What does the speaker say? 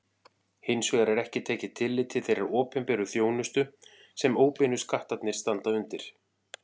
Hins vegar er ekki tekið tillit til þeirrar opinberu þjónustu sem óbeinu skattarnir standa undir.